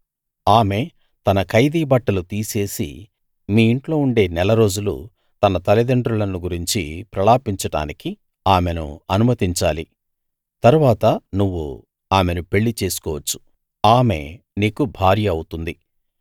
ఆమె తన ఖైదీ బట్టలు తీసేసి మీ ఇంట్లో ఉండే నెలరోజులు తన తల్లిదండ్రులను గురించి ప్రలాపించడానికి ఆమెను అనుమతించాలి తరువాత నువ్వు ఆమెను పెళ్లిచేసుకోవచ్చు ఆమె నీకు భార్య అవుతుంది